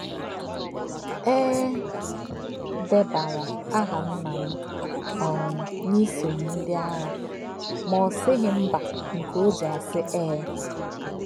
E debara aha nna m um n’isonye ndị agha ma ọ sịghị mba nke o ji asị ee.